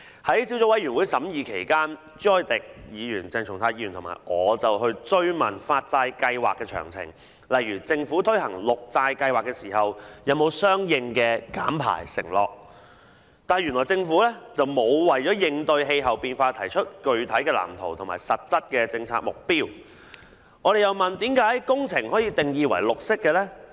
在小組委員會審議期間，朱凱廸議員、鄭松泰議員和我追問發債計劃的詳情，例如政府推行綠色債券計劃時是否有相應的減排承諾，但原來政府並無為應對氣候變化提出具體藍圖及實質的政策目標；我們又問，甚麼工程可以定義為"綠色"呢？